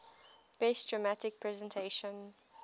best dramatic presentation